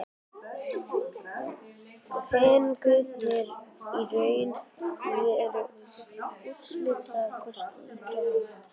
Fenguð þið í raun og veru úrslitakosti í gær?